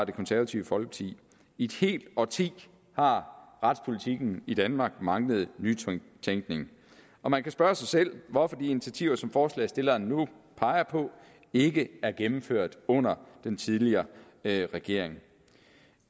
det konservative folkeparti i et helt årti har retspolitikken i danmark manglet nytænkning og man kan spørge sig selv hvorfor de initiativer som forslagsstillerne nu peger på ikke er blevet gennemført under den tidligere regering